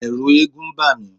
Ẹ̀ẹ̀rù eégún ń bà mí.